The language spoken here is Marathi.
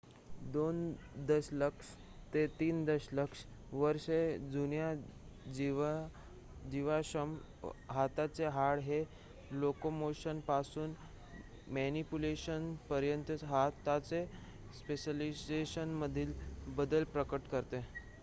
2 दशलक्ष ते 3 दशलक्ष वर्षे जुन्या जीवाश्म हाताचे हाड हे लोकोमोशनपासून मॅनिपुलेशनपर्यंतच्या हाताच्या स्पेशलायझेशनमधील बदल प्रकट करते